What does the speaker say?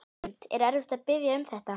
Hrund: Var erfitt að biðja um þetta?